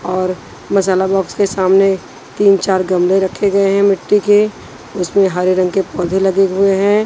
और मसाला बॉक्स के सामने तीन चार गमले रखे गए हैं मिट्टी के उसमें हरे रंग के पौधे लगे हुए हैं।